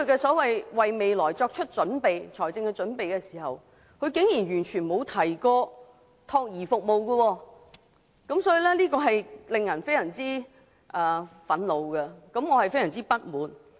他為未來作出的所謂財政撥備，竟然完全不包括託兒服務，令人非常憤怒和不滿。